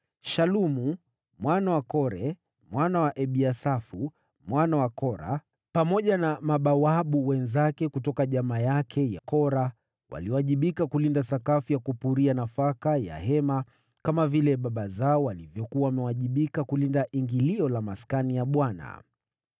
Shalumu mwana wa Kore, mwana wa Ebiasafu, mwana wa Kora, pamoja na mabawabu wenzake kutoka jamaa yake ya Kora waliwajibika kulinda malango ya Hema, kama vile baba zao walivyokuwa wamewajibika kulinda ingilio la Maskani ya Bwana .